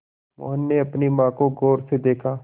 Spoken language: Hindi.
मोहन ने अपनी माँ को गौर से देखा